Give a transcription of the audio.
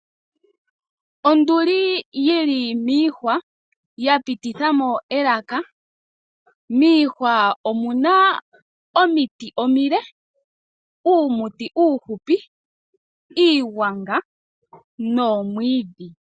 Onduli yili miihwa, ya pititha mo elaka. Miihwa omu na omiti omile, uumuti uuhupi, iigwanga nomwiidhi.